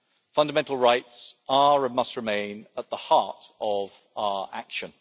Fundamental rights are and must remain at the heart of our action.